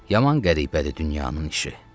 Yaman qəribədir dünyanın işi.